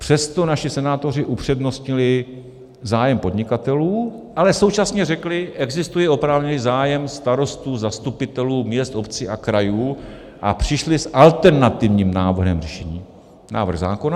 Přesto naši senátoři upřednostnili zájem podnikatelů, ale současně řekli "existuje oprávněný zájem starostů, zastupitelů měst, obcí a krajů" a přišli s alternativním návrhem řešení - návrh zákona.